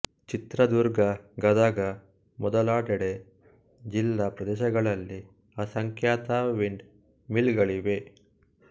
ಚಿತ್ರದುರ್ಗಗದಗ ಮೊದಲಾದೆಡೆ ಜಿಲ್ಲಾ ಪ್ರದೇಶಗಳಲ್ಲಿ ಅಸಂಖ್ಯಾತ ವಿಂಡ್ ಮಿಲ್ ಗಳಿವೆ